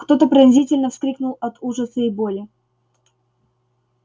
кто то пронзительно вскрикнул от ужаса и боли